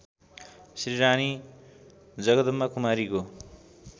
Shri Rani जगदम्बाकुमारीको